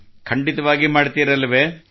ಖಂಡಿತವಾಗಿಯೂ ಮಾಡುತ್ತೀರಲ್ಲವೇ